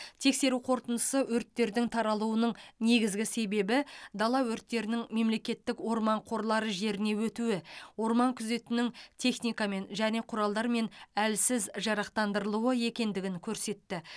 тексеру қорытындысы өрттердің таралуының негізгі себебі дала өрттерінің мемлекеттік орман қорлары жеріне өтуі орман күзетінің техникамен және құралдармен әлсіз жарақтандырылуы екендігін көрсетті